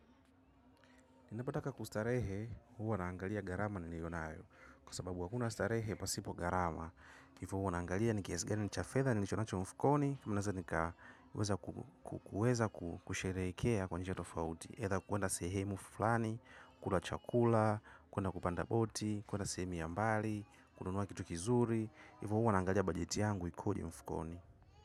Napotaka kustarehe, huwa naangalia gharama niliyo nayo. Kwa sababu hakuna starehe pasipo gharama. Hivyo huwa naangalia ni kiasi gani cha fedha ninacho mfukoni, naeza nikaweza kusherehekea kwa njia tofauti. Mimi nataka kuenda sehemu fulani, kula chakula, kuenda kupanda boti, kuenda sehemu ya mbali, kununua kitu kizuri. Hivo huwa naangalia bajeti yangu ikoje mfukoni.